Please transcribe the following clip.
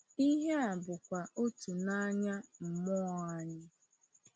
Ihe a bụkwa otu n’anya mmụọ anyị.